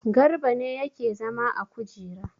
Garba ne yake zama a kujera.